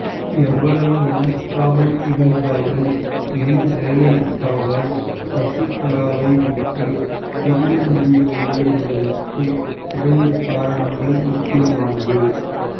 எவ்வளவு மனஸ்தாபம் இருந்தாலும் ஏன் ஜெயலலிதாவால் சசிகலாவை விட்டு பிரிய முடியவில்லை என்பதற்கு இரண்டு காரணங்கள் முக்கியமானது